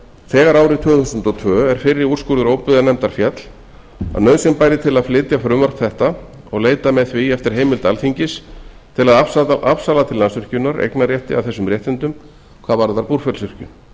þegar árið tvö þúsund og tvö er fyrri úrskurður óbyggðanefndar féll að nauðsyn bæri til að flytja frumvarp þetta og leita með því eftir heimild alþingis til að afsala til landsvirkjunar eignarrétti að þessum réttindum hvað varðar búrfellsvirkjun með